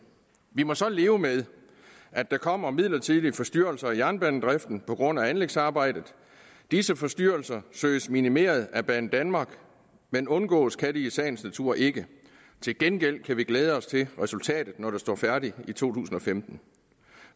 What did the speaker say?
vi må så leve med at der kommer midlertidige forstyrrelser af jernbanedriften på grund af anlægsarbejdet disse forstyrrelser søges minimeret af banedanmark men undgås kan de i sagens natur ikke til gengæld kan vi glæde os til resultatet når det står færdigt i to tusind og femten